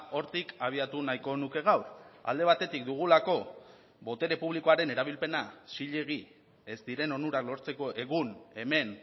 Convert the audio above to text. hortik abiatu nahiko nuke gaur alde batetik dugulako botere publikoaren erabilpena zilegi ez diren onurak lortzeko egun hemen